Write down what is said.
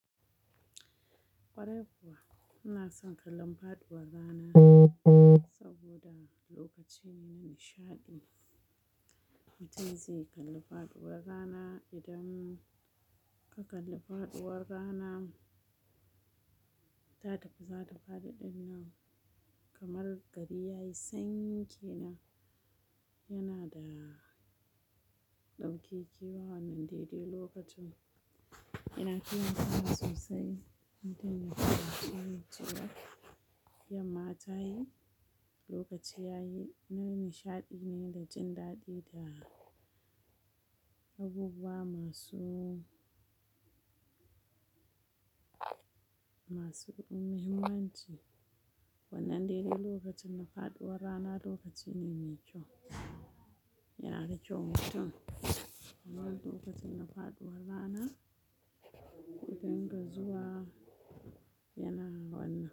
Kwarai kuwa, ina son kallon faɗuwar rana saboda lokaci ne na nishaɗi. Mutum zai kalli faɗuwar rana idan ka kalli faɗuwar rana ta tafi za ta faɗi ɗin nan kamar gari ya yi sanyi kenan yana da ɗaukaki yawan daidai lokacin. Ina kiyayewa sosai. Mutum yakan ƙi yin cewa, yamma ta yi, lokaci ya yi. Nan nishaɗi ne da jin daɗi da abubuwa masu, masu muhimmanci. Wannan dede lokacin na faɗuwar rana lokaci ne mai kyau. Yana da kyau mutum wannan lokacin na faɗuwar rana, kuɗinga zuwa yana wannan.